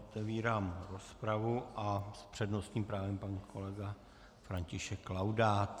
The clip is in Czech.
Otevírám rozpravu a s přednostním právem pan kolega František Laudát.